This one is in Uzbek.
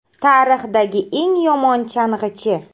“Tarixdagi eng yomon chang‘ichi”.